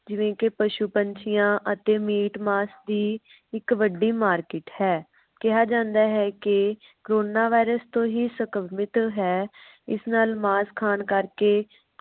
ਜਿਵੇ ਕਿ ਪਸ਼ੂ ਪੰਛੀਆਂ ਅਤੇ ਮੀਟ ਮਾਸ ਦੀ ਇਕ ਵੱਡੀ market ਹੈ ਕਿਹਾ ਜਾਂਦਾ ਹੈ। ਕਿ corona virus ਤੋਂ ਹੀ ਸੰਕ੍ਰਮਿਤ ਹੈ ਇਸ ਨਾਲ ਮਾਸ ਖਾਣ ਕਰਕੇ